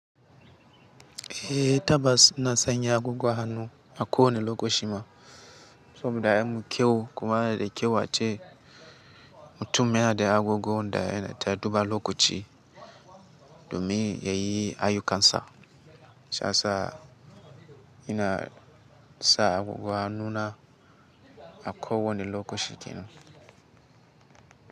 Ehh tabbas na sanya agogo a hannu a ko wanne lokacin ma. Saboda ya mun kyau kuma yanada da kyau a ce. Mutum yana da agogon da yana ta duba lokaci domin ya yi ayukan sa. Shiyasa ina sa agogo a hannuna a ko wane lokaci yanzu.